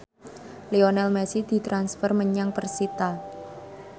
Lionel Messi ditransfer menyang persita